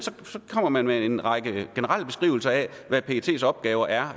kommer med en række generelle beskrivelser af hvad pets opgaver er